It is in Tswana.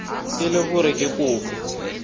e le gore ke kopo